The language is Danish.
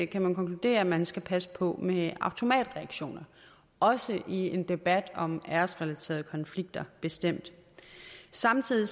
kan man konkludere at man skal passe på med automatreaktioner også i en debat om æresrelaterede konflikter bestemt samtidig er